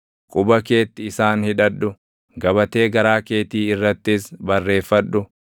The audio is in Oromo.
Quba keetti isaan hidhadhu; gabatee garaa keetii irrattis barreeffadhu.